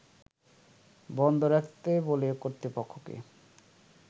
বন্ধ রাখতে বলে কর্তৃপক্ষকে